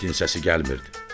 İtin səsi gəlmirdi.